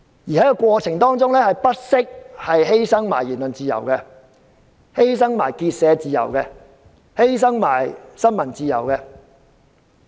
在這過程中，他們更不惜犧牲言論自由、結社自由和新聞自由。